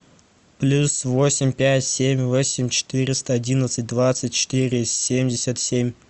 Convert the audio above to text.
плюс восемь пять семь восемь четыреста одиннадцать двадцать четыре семьдесят семь